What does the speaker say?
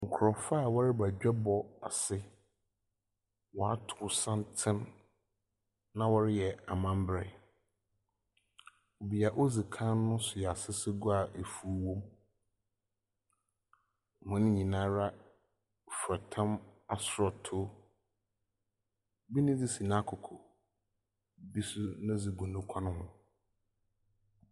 Nkurɔfoɔ a wɔreba adwabɔ ase. Wɔato santen, na wɔreyɛ amamberɛ, dzea odzi kan no soa asesegua a efuw wom. Hɔn nyinaa fura tam asɔɔtoo. Bi ne dze si n'akoko. Bi nso ne dze gu ne kɔn ho.